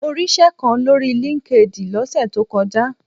Mo ríṣẹ́ kan lórí LinkedIn lọ́sẹ̀ tó kọjá.